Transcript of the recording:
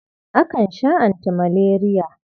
Akan sha antimaleriya.